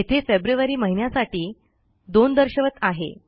येथे फेब्रुअरी महिन्यासाठी 02 दर्शवत आहे